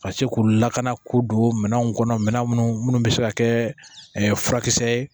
Ka se k'u lakana k'u don minɛnw kɔnɔ minnu bɛ se ka kɛ furakisɛ ye